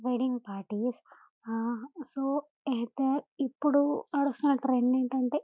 wedding parties ah so అయితే ఇప్పుడు నడుస్తున్నా ట్రెండ్ ఏంటంటే --